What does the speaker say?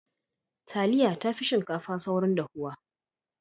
Taliya tafi shinkafa saurin dahuwa.